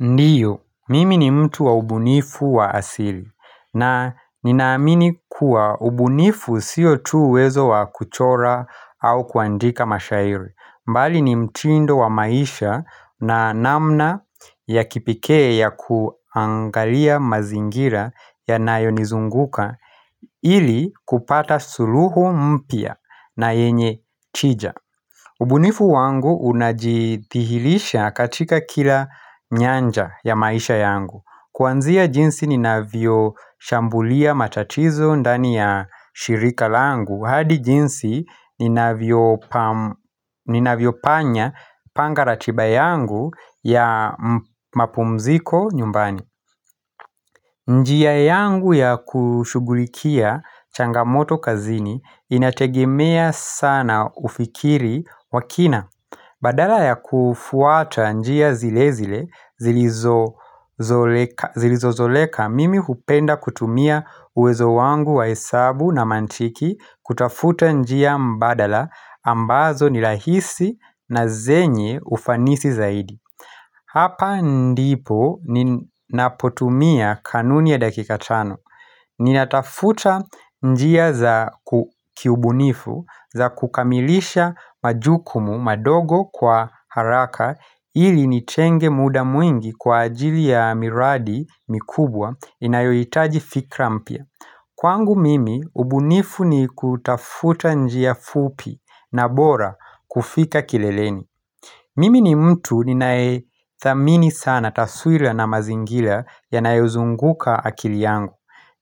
Ndiyo, mimi ni mtu wa ubunifu wa asili na ninaamini kuwa ubunifu siyo tu uwezo wa kuchora au kuandika mashairi. Mbali ni mtindo wa maisha na namna ya kipekee ya kuangalia mazingira yanayo nizunguka ili kupata suluhu mpya na yenye tija ubunifu wangu unajithihirisha katika kila nyanja ya maisha yangu Kuanzia jinsi ninavyo shambulia matatizo ndani ya shirika langu hadi jinsi ninavyo panya panga ratiba yangu ya mapumziko nyumbani njia yangu ya kushughulikia changamoto kazini inategemea sana ufikiri wa kina Badala ya kufuata njia zile zile zilizozoleka mimi kupenda kutumia uwezo wangu wa hesabu na mantiki kutafuta njia mbadala ambazo ni rahisi na zenye ufanisi zaidi. Hapa ndipo ninapotumia kanuni ya dakika tano. Ninatafuta njia za kiubunifu za kukamilisha majukumu madogo kwa haraka ili nitenge muda mwingi kwa ajili ya miradi mikubwa inayohitaji fikra mpya. Kwangu mimi, ubunifu ni kutafuta njia fupi na bora kufika kileleni Mimi ni mtu ninayethamini sana taswira na mazingira ya yanayozunguka akili yangu.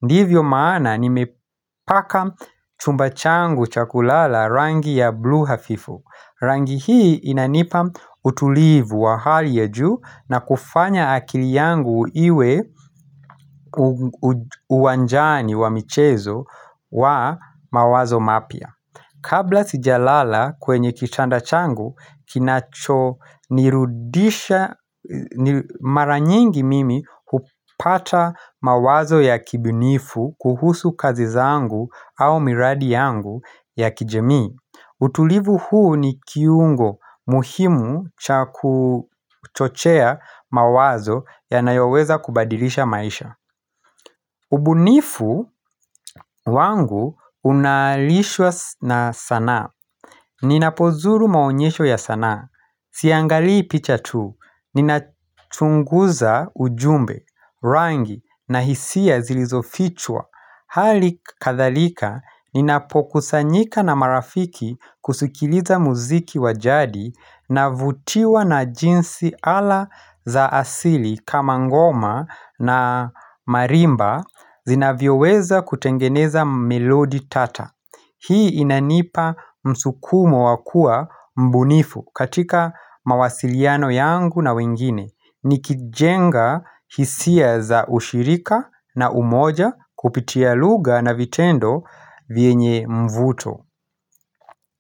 Ndivyo maana nimepaka chumba changu cha kulala rangi ya blue hafifu. Rangi hii inanipa utulivu wa hali ya juu na kufanya akili yangu iwe uwanjani wa michezo wa mawazo mapya. Kabla sijalala kwenye kitanda changu, kinachonirudisha maranyingi mimi hupata mawazo ya kibunifu kuhusu kazi zangu au miradi yangu ya kijamii. Utulivu huu ni kiungo muhimu cha kuchochea mawazo yanayoweza kubadilisha maisha. Ubunifu wangu unalishwa na sanaa. Ninapozuru maonyesho ya sanaa. Siangalii picha tu. Ninachunguza ujumbe, rangi na hisia zilizofichwa. Hali kadhalika, ninapokusanyika na marafiki kusikiliza muziki wa jadi navutiwa na jinsi ala za asili kama ngoma na marimba zinavyoweza kutengeneza melodi tata. Hii inanipa msukumo wa kuwa mbunifu katika mawasiliano yangu na wengine nikijenga hisia za ushirika na umoja kupitia lugha na vitendo vyenye mvuto.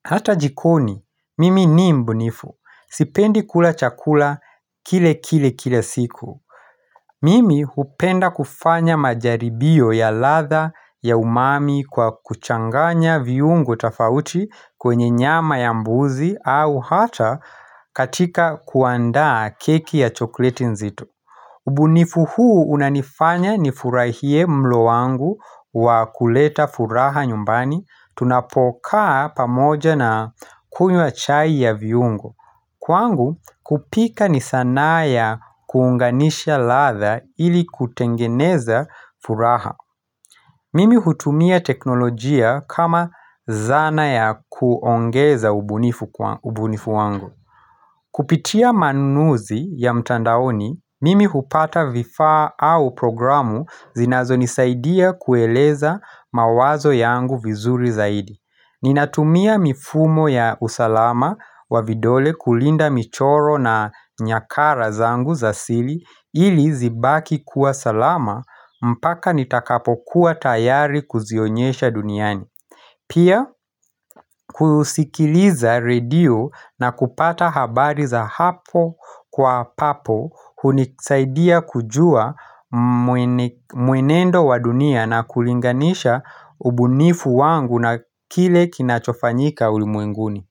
Hata jikoni, mimi ni mbunifu. Sipendi kula chakula kile kile kile siku. Mimi hupenda kufanya majaribio ya ladha ya umami kwa kuchanganya viungo tofauti kwenye nyama ya mbuzi au hata katika kuandaa keki ya chokleti nzito. Ubunifu huu unanifanya nifurahie mlo wangu wa kuleta furaha nyumbani Tunapokaa pamoja na kunywa chai ya viungo Kwangu kupika ni sanaa ya kuunganisha ladha ili kutengeneza furaha Mimi hutumia teknolojia kama zana ya kuongeza ubunifu wangu Kupitia manunuzi ya mtandaoni, mimi hupata vifaa au programu zinazonisaidia kueleza mawazo yangu vizuri zaidi Ninatumia mifumo ya usalama wa vidole kulinda michoro na nyakara zangu za sili ili zibaki kuwa salama mpaka nitakapokuwa tayari kuzionyesha duniani Pia kusikiliza radio na kupata habari za hapo kwa papo hunisaidia kujua mwenendo wa dunia na kulinganisha ubunifu wangu na kile kinachofanyika ulimwenguni.